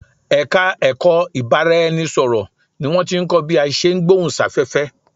Ẹ̀ka ẹ̀kọ́ ìbárá-ẹni-sọ̀rọ̀ ni wọ́n tí ń kọ́ bí a ṣe ń gbohùn sáfẹ́fẹ́